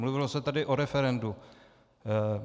Mluvilo se tady o referendu.